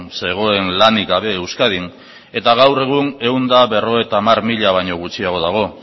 zegoen lanik gabe euskadin eta gaur egun ehun eta berrogeita hamar mila baino gutxiago dago